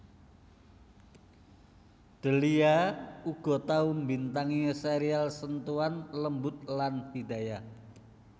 Delia uga tau mbintangi serial Sentuhan Lembut lan Hidayah